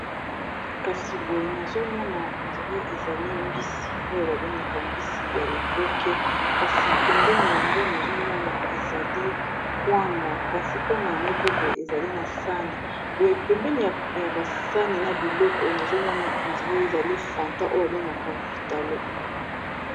kasi boye nazomona ondrae ezali mbisi oyo babengaka mbisi ya liboke kasi pembeni yango nazomona ezali kwanga kasi kwanga yango pe boye ezali na sani boye pembeni ya basani na biloko nazomona ondra ezali fanta oyo babengaka vitalo